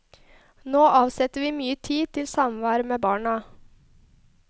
Nå avsetter vi mye tid til samvær med barna.